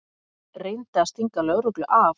Reyndi að stinga lögreglu af